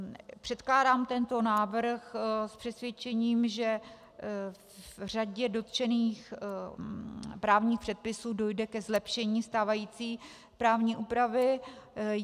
Předkládám tento návrh s přesvědčením, že v řadě dotčených právních předpisů dojde ke zlepšení stávající právní úpravy.